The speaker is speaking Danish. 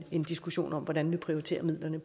en diskussion om hvordan vi prioriterer midlerne